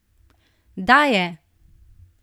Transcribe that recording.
Daje!